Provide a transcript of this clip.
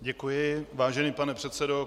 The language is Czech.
Děkuji, vážený pane předsedo.